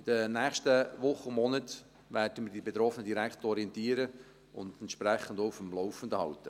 In den nächsten Wochen und Monaten werden wir die Betroffenen direkt orientieren und entsprechend auf dem Laufenden halten.